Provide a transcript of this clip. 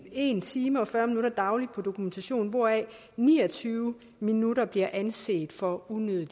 en time og fyrre minutter dagligt på dokumentation hvoraf ni og tyve minutter bliver anset for unødig